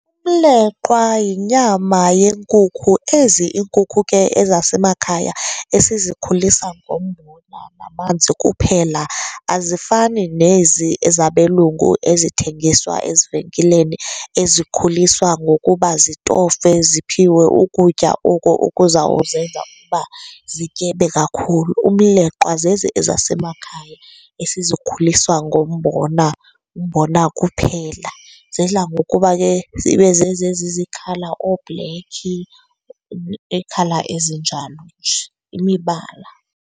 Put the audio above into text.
Umleqwa yinyama yenkukhu, ezi iinkukhu ke ezasemakhaya esizikhulisa ngombona namanzi kuphela. Azifani nezi ezabelungu ezithengiswa ezivenkileni, ezikhuliswa ngokuba zitofe ziphiwe ukutya oku okuzawuzenza ukuba zityebe kakhulu. Umleqwa zezi ezasemakhaya esizikhulisa ngombona, umbona kuphela. Zidla ngokuba ke zibe zezi ezizi-colour oobhlekhi, ii-colour ezinjalo nje, imibala.